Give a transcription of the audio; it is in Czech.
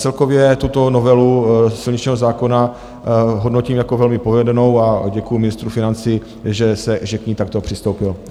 Celkově tuto novelu silničního zákona hodnotím jako velmi povedenou a děkuju ministru financí, že k ní takto přistoupil.